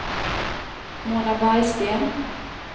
Mona Bergsten